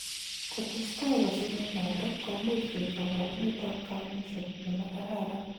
Ko testai kasunet notok ,komuch koek kabarunet ab kamuchet nemakararan.